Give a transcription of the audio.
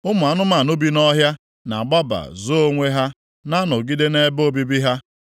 Ụmụ anụmanụ bi nʼọhịa na-agbaba zoo onwe; ha na-anọgide nʼebe obibi ha.